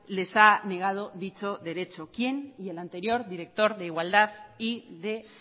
les ha negado dicho derecho quién y el anterior director de igualdad y de